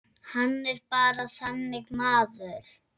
Hann er bara þannig maður.